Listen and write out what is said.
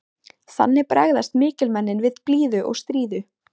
Þannig bregðast mikilmennin við blíðu og stríðu.